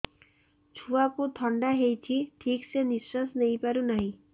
ଛୁଆକୁ ଥଣ୍ଡା ହେଇଛି ଠିକ ସେ ନିଶ୍ୱାସ ନେଇ ପାରୁ ନାହିଁ